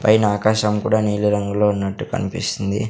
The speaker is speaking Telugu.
పైన ఆకాశం కూడా నీలిరంగులో ఉన్నట్టు కనిపిస్తుంది.